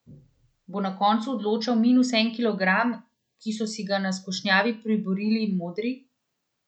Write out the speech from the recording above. Bo na koncu odločal minus en kilogram, ki so si ga na skušnjavi priborili modri?